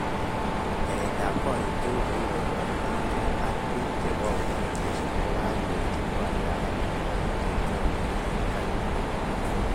Keret ab korik tugul chekibaibatenken ak bik chebo hotelishek kokakyanchi koalda amitwogik chebokyame enb gaa